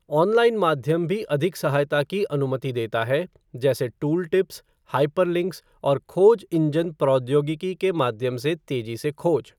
Online माध्यम भी अधिक सहायता की अनुमति देता है, जैसे टूलटिप्स, हाइपरलिंक्स, और खोज इंजन प्रौद्योगिकी के माध्यम से तेजी से खोज।